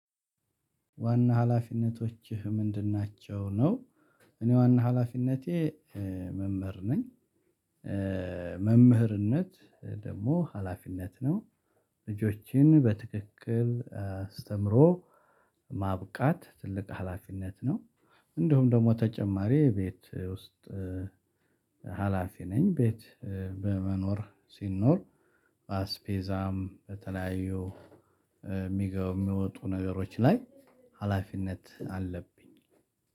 ዋና ሀላፊነቶችህ ምንድን ናቸው? ነው እኔ ዋና ሀላፊነቴ መምህር ነኝ። መምህርነት ደግሞ ሀላፊነት ነው። ልጆችን በትክክል አስተምሮ ማብቃት ትልቅ ሀላፊነት ነው። እንደውም ደግሞ ተጨማሪ ቤት ውስጥ ሀላፊ ነኝ ቤት በመኖር ሲኖር አስፔዛም በተለያዩ ሚገቡ ሚወጡ ነገሮች ላይ ሀላፊነት አለብኝ።